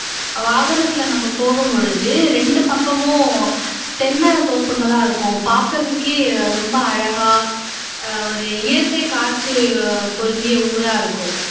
வாகனத்துல நம்ம போகும்பொழுது ரெண்டு பக்கங்களும் தென்னை தோப்புங்களா இருக்கும் பாக்குறதுக்கே ரொம்ப அழகா ஒரு இயற்கை காட்சி பொருந்திய ஊரா இருக்கும்